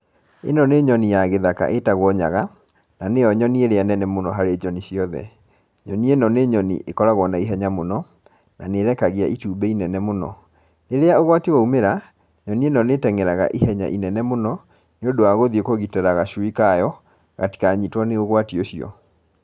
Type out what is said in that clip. Ĩno nĩ nyoni ya gĩthaka ĩtagwo nyaga, na nĩyo nyoni ĩrĩa nene mũno harĩ nyoni ciothe, nyoni ĩno nĩ nyoni ĩkoragwo na ihenya mũno, na nĩ ĩrekagia itumbĩ inene mũno. Rĩrĩa ũgwati waumĩra, nyoni ĩno nĩ ĩteng'eraga ihenya inene mũno nĩ ũndũ wa gũthiĩ kũgitĩra gacui kayo, gatikanyitwo nĩ ũgwati ũcio.